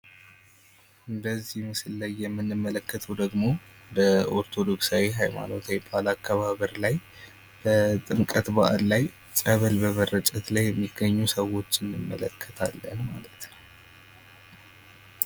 በዚህ ምስል ላይ የምንመለከተው ደግሞ በኦርቶዶክሳዊ ሀይማኖት በዓል አከባበር ላይ በጥምቀት በዓል ላይ ፀበል በመርጨት ላይ የሚገኙ ሰዎች እንመለከታለን ።